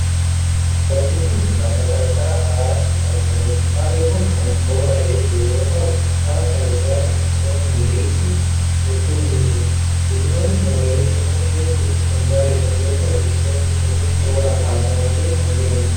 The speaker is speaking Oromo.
Bakki kun, lafa qarqara haraatti argamuu dha. Harri kun kan boora'ee jiru yoo ta'u, hara kana cinaatti biqiloonni magariisni hedduun ni jiru. Biqiloonni magariisni kun hedduu kan bareedan yoo ta'u, biqiloonni kunneen tooran dhaabamanii kan jiranii dha.